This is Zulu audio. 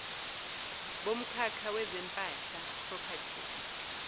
bomkhakha wezempahla property